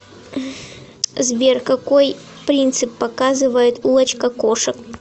сбер какой принцип показывает улочка кошек